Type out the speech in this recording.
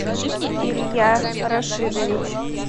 илья рашидович